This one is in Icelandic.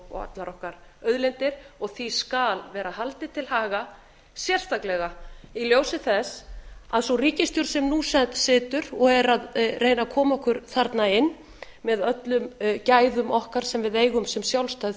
og allar okkar auðlindir og því skal vera haldið til haga sérstaklega í ljósi þess að sú ríkisstjórn sem nú situr og er að reyna að koma okkur þarna inn með öllum gæðum okkar sem við eigum sem sjálfstæð